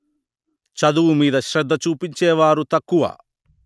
చదువు మీద శ్రద్ద చూపించే వారు తక్కువ